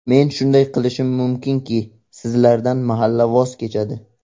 Men shunday qilishim mumkinki, sizlardan mahalla voz kechadi.